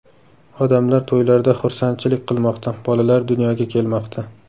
Odamlar to‘ylarda xursandchilik qilmoqda, bolalar dunyoga kelmoqda.